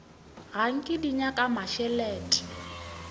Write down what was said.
ga nke di nyaka mmešelet